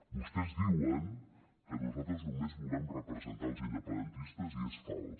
vostès diuen que nosaltres només volem representar els independentistes i és fals